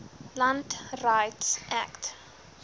land rights act